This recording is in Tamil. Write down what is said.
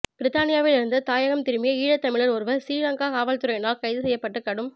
பிரித்தானியாவில் இருந்து தாயகம் திரும்பிய ஈழத்தமிழர் ஒருவர் சிறீலங்கா காவல்துறையினரால் கைது செய்யப்பட்டுக் கடும்